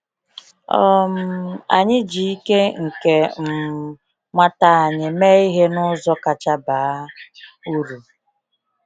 um Anyị ji ike nke um nwata anyị mee ihe n’ụzọ kacha baa uru.